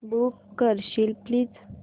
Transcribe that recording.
book करशील please